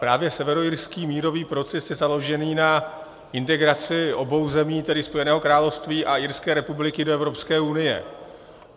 Právě severoirský mírový proces je založen na integraci obou zemí, tedy Spojeného království a Irské republiky, do Evropské unie.